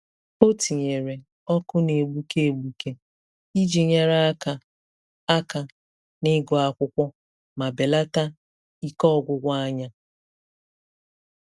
O tinyere ọkụ na-egbuke egbuke iji nyere aka aka n'ịgụ akwụkwọ ma belata ike ọgwụgwụ anya.